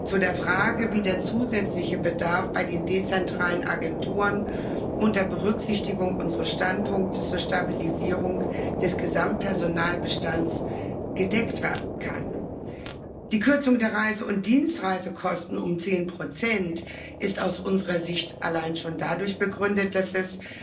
Zu der Frage, wie der zusätzliche Bedarf bei den dezentralen Agenturen unter Berücksichtigung unseres Standpunktes zur Stabilisierung des Gesamtpersonalbestands gedeckt werden kann Die Kürzung der Reise und Dienstreisekosten um 10 ist aus unserer Sicht allein schon dadurch begründet, dass es